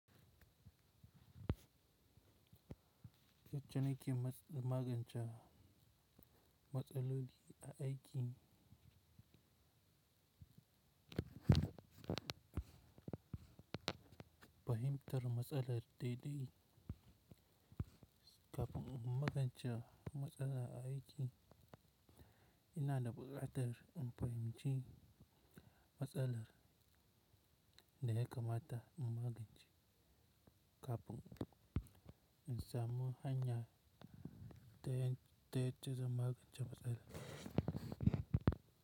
Yacce ne kim magance matsalar a aiki? Fahimtar matsalar dai dai. Kafin in magance matsala aiki, ina da ɓukatar in fahimci matsalar da ya kamata in magance. Kafin in samu hanya ta yadda zanmagance matsalan.